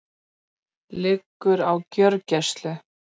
Liggur á gjörgæslu